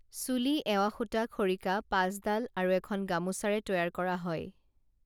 চুলি এৱাসূতা খৰিকা পাঁচডাল আৰু এখন গামোছাৰে তৈয়াৰ কৰা হয়